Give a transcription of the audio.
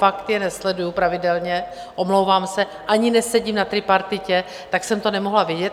Fakt je nesleduji pravidelně, omlouvám se, ani nesedím na tripartitě, tak jsem to nemohla vědět.